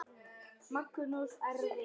Helgi: Hvað stendur upp úr?